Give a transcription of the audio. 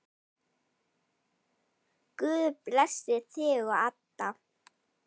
Guð blessi þig og Adda.